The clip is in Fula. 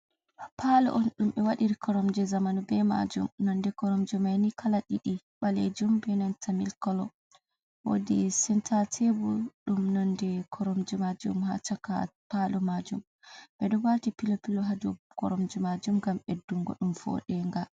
Palo on ɗum ɓe waɗiri koromje zamanu be majum, nonde koromje manni kala ɗiɗi ɓalejum be nanta mil kolo, wodi senta tebul ɗum nandi koromje majum, ha chaka palo majum ɓeɗo wati pilovpilo ha dow koromje majum ngam ɓeddungo ɗum vodenga.